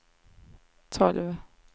tolv